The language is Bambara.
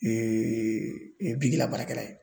Eee bigi labaarakɛla ye